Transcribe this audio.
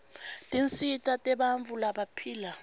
tinsita tebantfu labaphila